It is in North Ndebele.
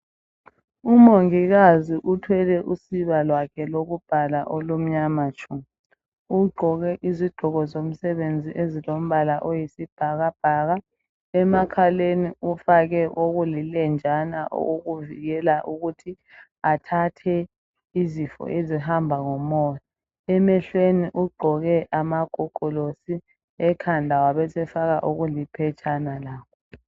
Umongikazi uthwele usiba lwakhe lokubhala olumnyama tshu. Ugqoke izigqoko zomsebenzi ezilombala oyisibhakabhaka, emakhaleni ufake okulilenjana okokuvikela ukuthi athathe izifo ezihamba ngomoya. Emehlweni ugqoke amagogolosi, ekhanda wabesefaka okuliphetshana